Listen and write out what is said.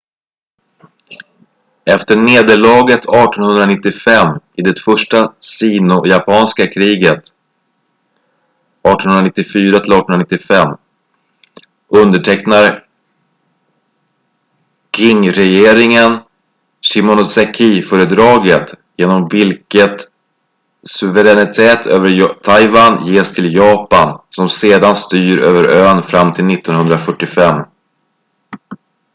efter nederlaget 1895 i det första sino-japanska kriget 1894-1895 undertecknar qingregeringen shimonosekiföredraget genom vilket suveränitet över taiwan ges till japan som sedan styr över ön fram till 1945